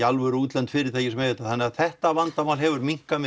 alvöru útlend fyrirtæki sem eiga þetta þannig að þetta vandamál hefur minnkað